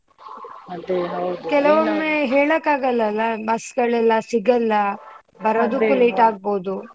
ಅದೇ ಹೌದು ಕೆಲವೊಮ್ಮೆ ಹೇಳಕ್ಕಾಗಲ್ಲ ಅಲ್ಲ bus ಗಳೆಲ್ಲ ಸಿಗಲ್ಲ ಬರೋದಿಕ್ಕು late ಆಗ್ಬೋದು.